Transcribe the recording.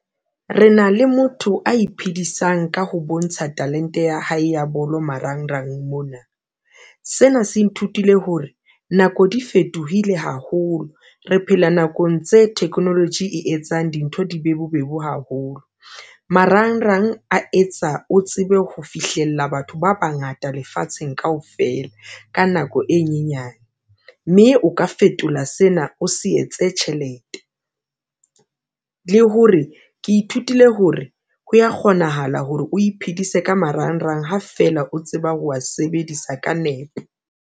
Re na le motho a iphedisang ka ho bontsha talente ya hae ya bolo marangrang mona. Sena se nthutile hore nako di fetohile haholo. Re phela nakong tse technology e etsang dintho di be bobebe haholo. Marangrang a etsa o tsebe ho fihlella batho ba bangata lefatsheng kaofela ka nako e nyenyane mme o ka fetola sena o se etse tjhelete le hore ke ithutile hore ho ya kgonahala hore o iphedise ka marangrang ha fela o tseba ho wa sebedisa ka nepo.